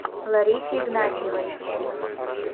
ларисе игнатьевой